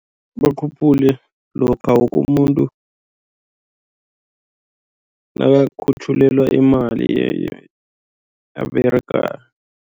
Bakhuphule lokha woke umuntu nakakhutjhulelwa imali ayiberegako.